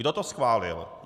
Kdo to schválil?